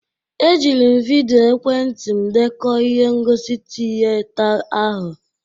E jiri m vịdịo ekwentị m dekọ ihe ngosi tịyeta ahụ.